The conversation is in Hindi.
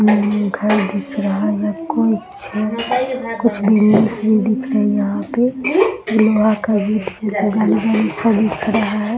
उम्म घर दिख रहा है कुछ कुछ बिल्डिंग भी दिख रही है यहाँ पे सभी खड़ा है।